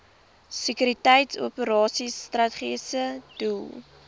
sekuriteitsoperasies strategiese doel